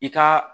I ka